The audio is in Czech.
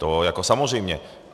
To jako samozřejmě.